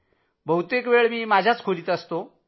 बहुतेक वेळ माझ्याच खोलीत रहातो